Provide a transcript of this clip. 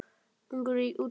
Ungur í útgerð